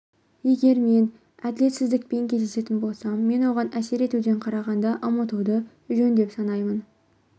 егер мен әділетсіздікпен кездесетін болсам мен оған әсер етуден қарағанда ұмытуды жөн деп санаймын